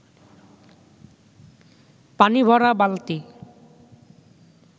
পানি ভরা বালতি